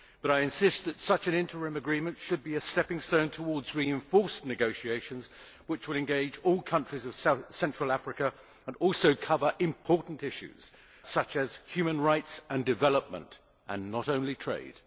But I insist that such an interim agreement should be a stepping stone towards reinforced negotiations which will engage all countries of Central Africa and also cover important issues such as human rights and development, and not only trade.